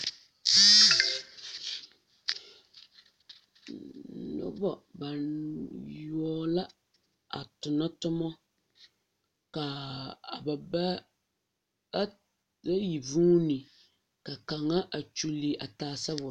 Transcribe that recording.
Noba bayoɔbo la a tona toma ka ba ba bayi vuuni ka kaŋa a kyuli a taa sabol.